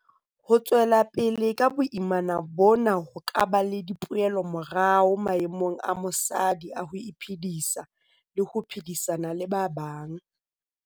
Ho tswela pele ka boimana bona ho ka ba le dipoelomorao maemong a mosadi a ho iphedisa le ho phedisana le ba bang.